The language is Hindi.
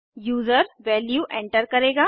यूजर वैल्यू एंटर करेगा